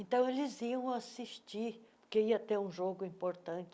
Então, eles iam assistir, porque ia ter um jogo importante.